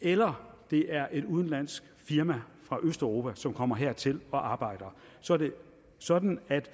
eller det er et udenlandsk firma fra østeuropa som kommer hertil og arbejder så er det sådan at der